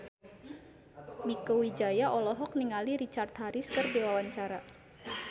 Mieke Wijaya olohok ningali Richard Harris keur diwawancara